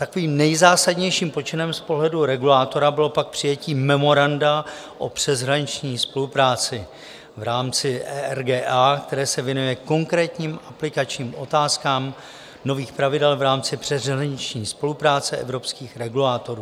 Takovým nejzásadnějším počinem z pohledu regulátora bylo pak přijetí memoranda o přeshraniční spolupráci v rámci ERGA, které se věnuje konkrétním aplikačním otázkám nových pravidel v rámci přeshraniční spolupráce evropských regulátorů.